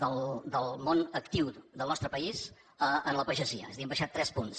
del món actiu del nostre país a la pagesia és a dir hem baixat tres punts